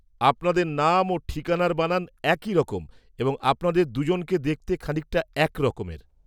-আপনাদের নাম ও ঠিকানার বানান একইরকম এবং আপনাদের দুজনকে দেখতে খানিকটা এক রকমের।